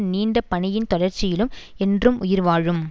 நீண்ட பணியின் தொடர்ச்சியிலும் என்றும் உயிர்வாழும்